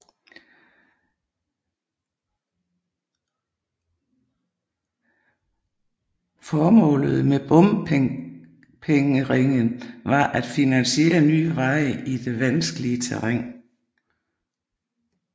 Formålet med bompengeringen var at finansiere nye veje i det vanskelige terræn